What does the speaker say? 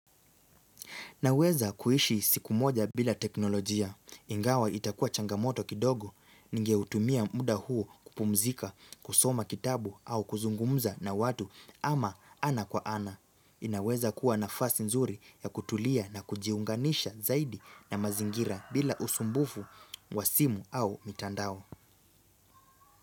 Naweza kuishi siku moja bila teknolojia, ingawa itakua changamoto kidogo, ningeutumia muda huo kupumzika, kusoma kitabu au kuzungumza na watu ama ana kwa ana. Inaweza kuwa nafasi nzuri ya kutulia na kujiunganisha zaidi na mazingira bila usumbufu wa simu au mitandao.